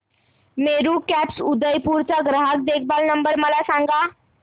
Meru cabs Udaipur चा ग्राहक देखभाल नंबर मला सांगा